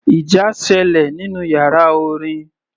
Ìjà sẹlẹ̀ nínú yàrá orin.